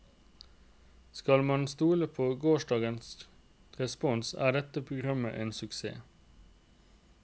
Skal man stole på gårsdagens respons er dette programmet en suksess.